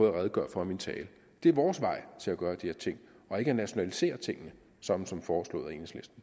at redegøre for i min tale det er vores vej til at gøre de her ting ikke at nationalisere tingene som som foreslået af